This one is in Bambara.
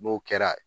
N'o kɛra